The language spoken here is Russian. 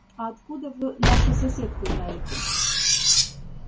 а откуда вы нашу соседку знаете